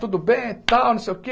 Tudo bem e tal, não sei o quê?